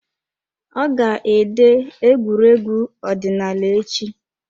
Ọ ga ede egwuregwu ọdịnaala echi.